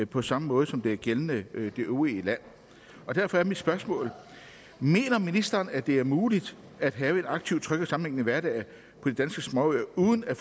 på samme måde som det er gældende i det øvrige land derfor er mit spørgsmål mener ministeren at det er muligt at have en aktiv tryg og sammenhængende hverdag på de danske småøer uden at